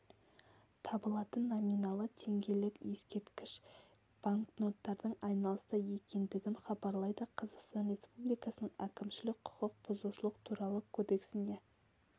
табылатын номиналы теңгелік ескерткіш банкноттардың айналыста екендігін хабарлайды қазақстан республикасының әкімшілік құқық бұзушылық туралы кодексіне